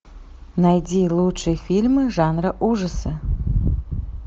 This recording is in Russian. найди лучшие фильмы жанра ужасы